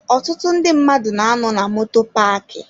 Ọtụtụ ndị mmadụ na-anọ na moto paaki.